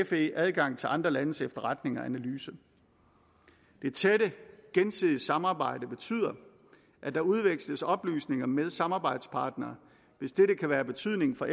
fe adgang til andre landes efterretninger og analyser det tætte gensidige samarbejde betyder at der udveksles oplysninger med samarbejdspartnere hvis dette kan være af betydning for